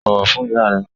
Bọ̀wọ̀ fún ìyá rẹ!